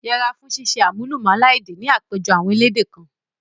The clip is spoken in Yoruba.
Yẹra fún ṣíṣe àmúlùmálà èdè ni àpéjọpọ̀ àwọn elédè kan.